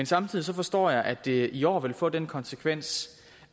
samtidig forstår jeg at det i år vil få den konsekvens